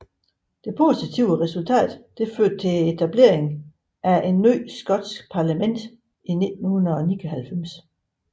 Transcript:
Det positive resultat førte til etableringen af et nyt skotsk parlament i 1999